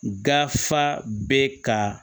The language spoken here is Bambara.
Gafaa bɛ ka